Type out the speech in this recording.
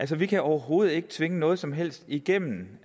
vi kan overhovedet ikke tvinge noget som helst igennem